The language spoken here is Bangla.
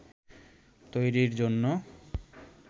তৈরির জন্য